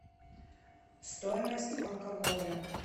стоимость алкоголя